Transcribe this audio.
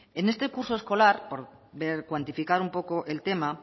en este curso escolar por cuantificar un poco el tema